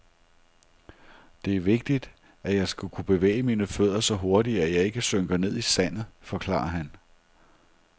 Detr er vigtigt, at jeg skal kunne bevæge mine fødder så hurtigt, at jeg ikke synker ned i sandet, forklarer han.